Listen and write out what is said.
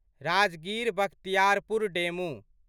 Rajgir Bakhtiyarpur DEMU